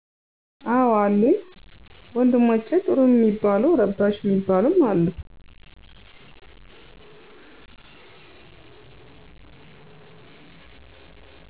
አዎ አሉኝ፣ ወንድሞቸ ጥሩም ሚባሉ ረባሽ ሚባሉም አሉ።